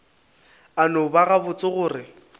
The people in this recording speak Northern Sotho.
a no bona gabotse gore